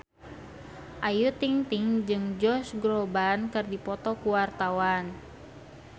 Ayu Ting-ting jeung Josh Groban keur dipoto ku wartawan